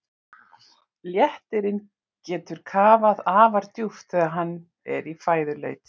Léttirinn getur kafað afar djúpt þegar hann er í fæðuleit.